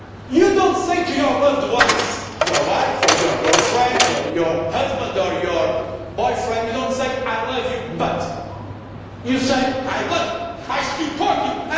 You do not say to your loved ones your wife or your girlfriend, your husband or your boyfriend I love you, but', you say I love you, I support you'.